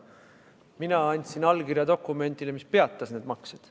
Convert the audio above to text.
Mina andsin allkirja dokumendile, mis peatas need maksed.